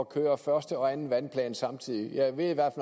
køre første og anden vandplan samtidig jeg ved i hvert